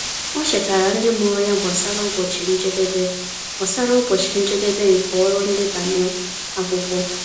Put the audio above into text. Ọ chetaara ndị mụrụ ya gbasara ụbọchị njedebe gbasara ụbọchị njedebe nke ọrụ ndebanye akwụkwọ.